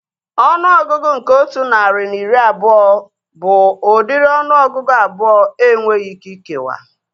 Ọnụọgụgụ nke otu narị na iri abụọ bụ udiri ọnụọgụgụ abụọ enweghị ike ikewa